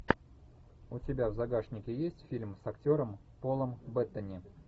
у тебя в загашнике есть фильм с актером полом беттани